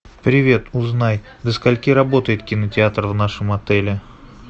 привет узнай до скольки работает кинотеатр в нашем отеле